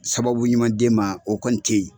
Sababu ɲuman d' e ma o kɔni te ye